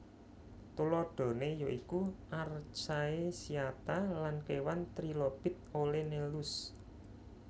Tuladhané ya iku archaecyata lan kéwan Trilobit Olenellus